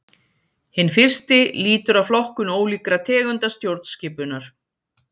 Hinn fyrsti lýtur að flokkun ólíkra tegunda stjórnskipunar.